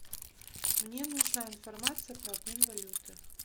мне нужна информация про обмен валюты